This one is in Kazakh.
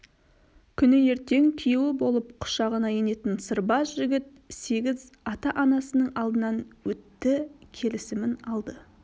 күні ертең күйеуі болып құшағына енетін сырбаз жігіт сегіз ата-анасының алдынан өтті келісімін алды